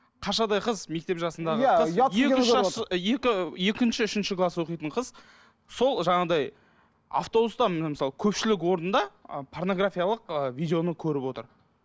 қаршадай қыз мектеп жасындағы қыз екі екінші үшінші класс оқитын қыз сол жаңағындай автобуста міне мысалы көпшілік орында ы порнографиялық ыыы видеоны көріп отыр